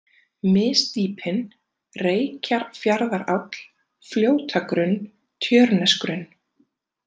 Misdýpin, Reykjarfjarðaráll, Fljótagrunn, Tjörnesgrunn